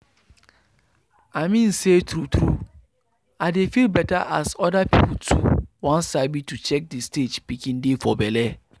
i mean say true true i dey feel better as other people too won sabi to check the stage pikin dey for belle.